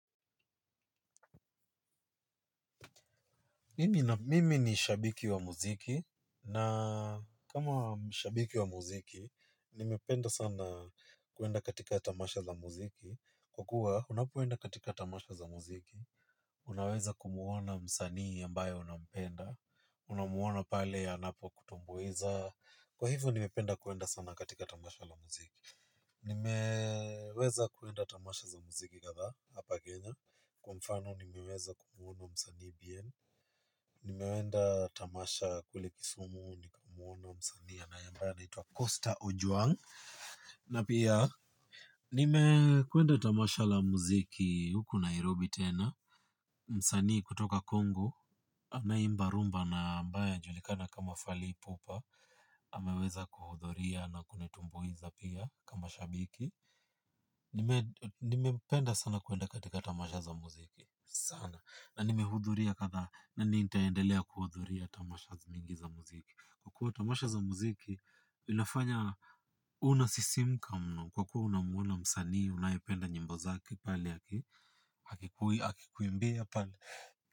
Mimi ni shabiki wa mziki, na kama shabiki wa mziki, nimependa sana kuenda katika tamasha za mziki. Kwa kuwa, unapoenda katika tamasha za mziki, unaweza kumuona msanii ambaye unampenda, unamuona pale anapo kutumbuiza. Kwa hivyo, nimependa kuenda sana katika tamasha za mziki. Nimeweza kuenda tamasha za mziki kadhaa, hapa Kenya, kwa mfano, nimeweza kumuona msanii bien. Nimeenda tamasha kule kisumu nikamuona msanii na ambaye anaitwa Costa Ojwang'. Na pia nimekwenda tamasha za mziki huko Nairobi tena. Msani kutoka Congo anaye imba rumba na ambaye anajulikana kama fally ipupa ameweza kuhudhuria na kunitumbuiza pia kama shabiki. Nimependa sana kuenda katika tamasha za mziki. Sana, na nimehudhuria kadhaa, na nitaendelea kuhudhuria tamasha zingine mingi za mziki. Kwa kuwa tamasha za mziki, inafanya, unasisimka mno. Kwa kuwa unamuona msanii, unayependa nyimbo zake, pale, akikuwe, akikuimbia pale.